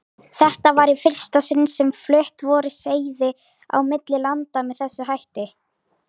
Þetta var í fyrsta sinni sem flutt voru seiði á milli landa með þessum hætti.